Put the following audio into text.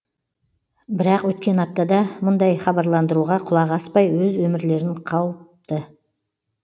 бірақ өткен аптада бұндай хабарландыруға құлақ аспай өз өмірлерін қауіпті